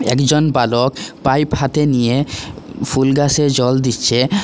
একজন বালক পাইপ হাতে নিয়ে ফুল গাছে জল দিচ্ছে।